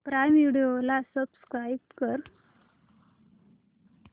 prime Video ला subscribe कर